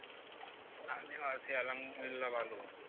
আমিও আছি আলহামদুলিল্লাহ ভালো।